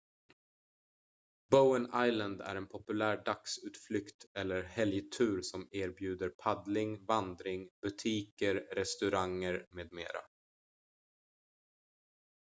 bowen island är en populär dagsutflykt eller helgtur som erbjuder paddling vandring butiker restauranger med mera